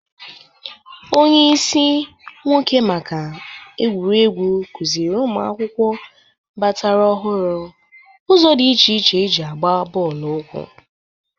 Onyeisi nwoke maka egwuregwu kụzịrị ụmụ akwụkwọ batara ọhụrụ ụzọ dị iche iche e ji agba bọọlụ ụkwụ